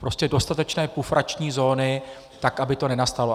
Prostě dostatečné pufrační zóny, tak aby to nenastalo.